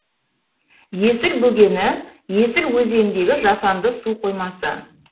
есіл бөгені есіл өзеніндегі жасанды суқоймасы